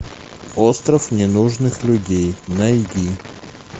остров ненужных людей найди